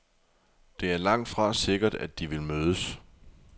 Det er langtfra sikkert, at de vil mødes.